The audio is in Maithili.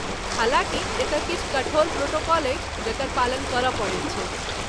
हालाँकि , एतय किछु कठोर प्रोटोकॉल अछि जकर पालन करय पड़ैत छैक ।